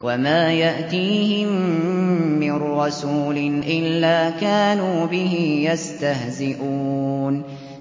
وَمَا يَأْتِيهِم مِّن رَّسُولٍ إِلَّا كَانُوا بِهِ يَسْتَهْزِئُونَ